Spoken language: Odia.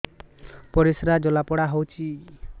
ପରିସ୍ରା ଜଳାପୋଡା ହଉଛି